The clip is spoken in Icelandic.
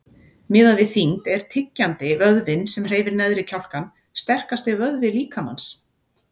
Miðað við þyngd er tyggjandi, vöðvinn sem hreyfir neðri kjálkann, sterkasti vöðvi líkamans.